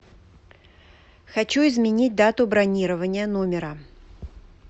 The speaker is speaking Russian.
хочу изменить дату бронирования номера